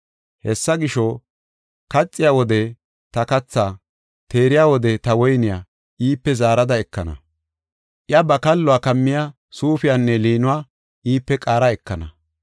Hessa gisho, kaxiya wode ta kathaa, teeriya wode ta woyniya iipe zaarada ekana. Iya ba kalluwa kammiya suufiyanne liinuwa iipe qaara ekana.